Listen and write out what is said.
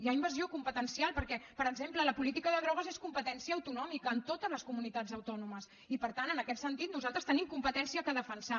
hi ha invasió competencial perquè per exemple la política de drogues és competència autonòmica en totes les comunitats autònomes i per tant en aquest sentit nosaltres tenim competència per defensar